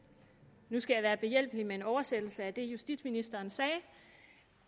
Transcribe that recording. nu skal jeg være behjælpelig med en oversættelse af det justitsministeren sagde